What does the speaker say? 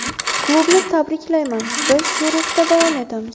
Klubni tabriklayman, biz shu ruhda davom etamiz.